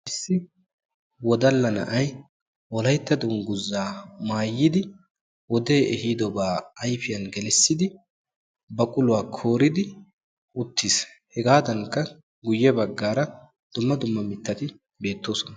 Issi wodalla na'ayi wolaytta dungguzaa maayidi wodee ehiidobaa ayfiyan gelissidi baquluwa kooridi uttis. Hegaadankka guyye baggaara dumma dumma mittati beettoosona.